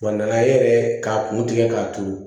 Wa nana e yɛrɛ k'a kun tigɛ k'a turu